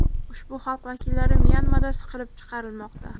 Ushbu xalq vakillari Myanmada siqib chiqarilmoqda.